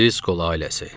Driscoll ailəsi.